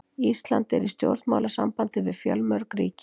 Ísland er í stjórnmálasambandi við fjölmörg ríki.